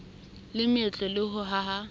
le meetlo le ho haha